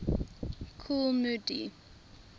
kool moe dee